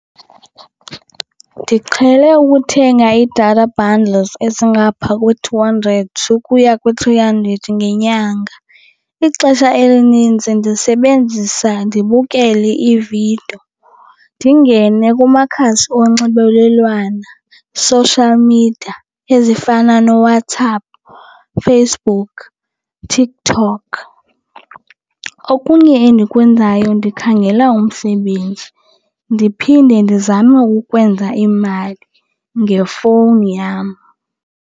Ndiqhele ukuthenga ii-data bundles ezingapha kwe-two hundred ukuya kwi-three hundred ngenyanga. Ixesha elinintsi ndisebenzisa ndibukele iividiyo, ndingene kumakhasi onxibelelwano, social media ezifana nooWhatsApp, Facebook, TikTok. Okunye endikwenzayo ndikhangela umsebenzi, ndiphinde ndizame ukwenza imali ngefowuni yam.